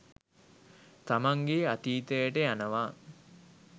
තමන්ගේ අතීතයට යනවා.